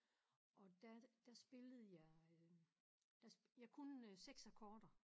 Og der der spillede jeg øh der jeg kunne 6 akkorder